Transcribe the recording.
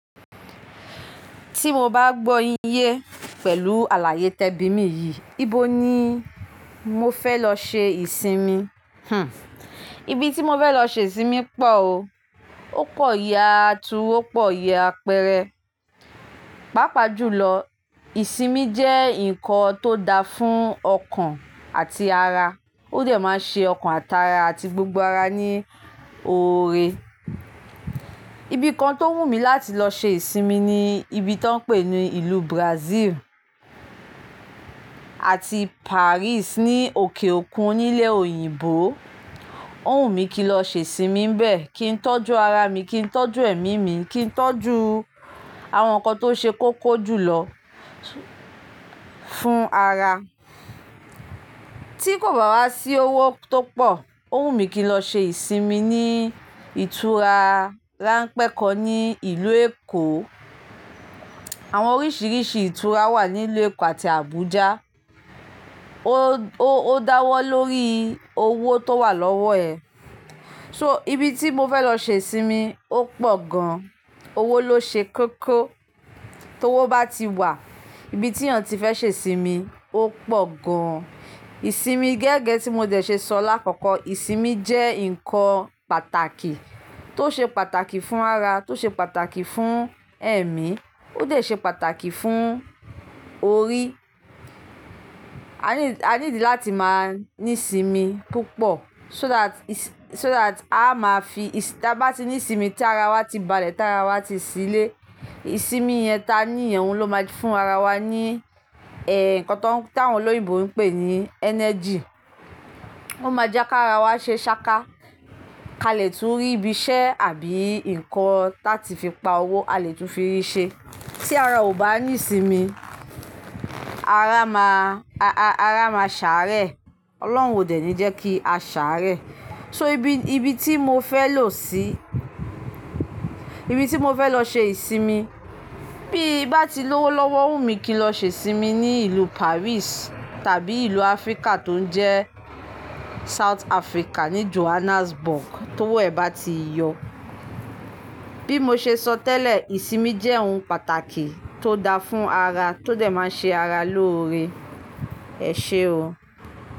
Tí mo bá gbọ́ yin yẹ pẹ̀lú àlàyé tẹbí mi yìí, ibo ni mo fẹ́ lọ ṣe ìsinmi? Hmm. Ibi tí mo fẹ́ lọ ṣe ìsinmi pọ̀ o. Ó pọ̀ yá tuú, ó pọ̀ yá pẹrẹ. Pápá jù lọ, ìsinmi jẹ́ ǹkan tó da fún ọkàn àti ara. Ó dẹ̀ máa ń ṣe ọkàn àti ara àti gbogbo ara ní oore. Ibi kan tó wù mí láti lọ ṣe ìsinmi ni ibi tí wọ́n pè ní ìlú Brazil àti Paris ní òkè òkun nílé òyìnbó. Ó wùmí kí n lọ ṣe ìsinmi níbẹ̀, kí n tọ́jú ara mi, kí n tọ́jú ẹ̀mí mi, kí n tọ́jú àwọn nǹkan tó ṣe kóko jùlọ fún ara. Tí kò bá wá sí owó tó pọ̀, ó wùmí kí n lọ ṣe ìsinmi ní ìtura ránpẹ́ kọ́ ní ìlú Èkó. Àwọn oríṣiríṣi ìtura wà nílùú Èkó àti Abuja. O dáwọ́ lórí owó tó wà lọ́wọ́ ẹ. So ibi tí mo fẹ́ lọ ṣe ìsinmi ó pọ̀ gan. Owó ló ṣe kóko. Tó owó bá ti wà, ibi tí èèyàn ti fẹ́ ṣe ìsinmi ó pọ̀ gan. Ìsinmi gẹ́gẹ́ tí mo dẹ̀ ṣe sọ lákọ̀ọ̀kọ́, ìsinmi jẹ́ ǹkan pàtàkì, tó ṣe pàtàkì fún ara, tó ṣe pàtàkì fún ẹ̀mí, ó dẹ̀ ṣe pàtàkì fún orí. A ní, a need dí láti máa ní ìsinmi púpọ̀ so that, so that a máa fi ta bá ti ní ìsinmi tí ara wa ti balẹ̀, tí ara wa ti ṣílé, ìsinmi yẹn ta nìyẹn, òun ló máa fún ara wa ní, ẹ́, nǹkan táwọn olóyìnbó ń pè ní energy. Ó máa jẹ́ kí ara wa ṣe ṣáká kalẹ̀ tú rí ibi iṣẹ́ àbí ǹkan ta ti fi pa owó a lè tún fi rí ṣe. Tí ara ò bá ní ìsinmi, ara máa, ara máa ṣàárẹ̀. Ọlọ́run ò dẹ̀ ní jẹ́ kí a ṣàárẹ̀. So ibi, ibi tí mo fẹ́ lọ sí, ibi tí mo fẹ́ lọ ṣe ìsinmi bíi bá ti lówó lọ́wọ́, o wùmí kí n lọ ṣe ìsinmi ní ìlú Paris tàbí ìlú Africa tó ń jẹ́ South Africa ní Johannesburg tó wẹ̀ be á ti yọ. Bí mo ṣe sọ tẹ́lẹ̀, ìsinmi jẹ́ ohun pàtàkì tó da fún ara, tó dẹ̀ máa ń ṣe ara lóore. Ẹ̀ṣé o.